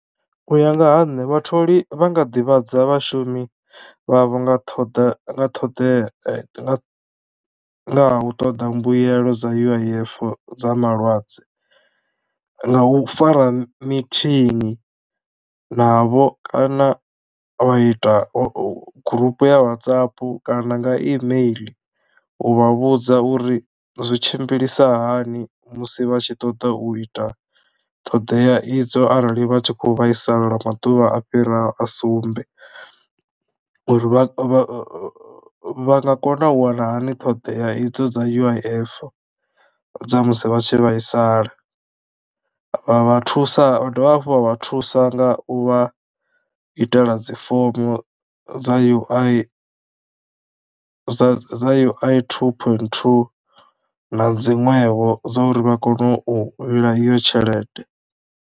U ya nga ha nṋe vhatholi vha nga ḓivhadza vhashumi vha vho nga ṱhoḓa nga ṱhoḓea nga nga ha u ṱoḓa mbuelo dza U_I_F dza malwadze nga u fara meeting navho kana vha ita gurupu ya WhatsApp kana nga imeiḽi u vha vhudza uri zwi tshimbilisa hani musi vha tshi ṱoḓa u ita ṱhoḓea idzo arali vha tshi kho vhaisala lwa maḓuvha a fhiraho a sumbe uri vha vha vha nga kona u wana hani ṱhoḓea idzo dza U_I_F dza musi vha tshi vhaisala vha vha thusa vha dovha hafhu vha vha thusa nga u vha itela dzi fomo dza ui dza dza ui two point two na dziṅwevho dzo uri vha kone u vhila iyo tshelede.